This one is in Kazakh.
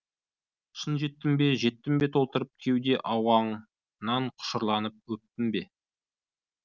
шын жеттім бе жеттім бе толтырып кеуде ауаңнан құшырланып өптім бе